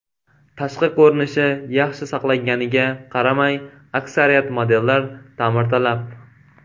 Tashqi ko‘rinishi yaxshi saqlanganiga qaramay, aksariyat modellar ta’mirtalab.